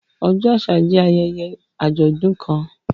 Ọjọ àṣà jẹ ayẹyẹ ajọdun kàn.